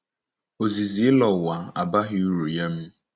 Ozizi ịlọ ụwa abaghị uru nye m.